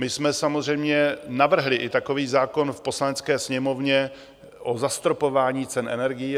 My jsme samozřejmě navrhli i takový zákon v Poslanecké sněmovně o zastropování cen energií.